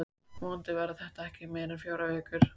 Vonandi verða þetta ekki meira en fjórar vikur.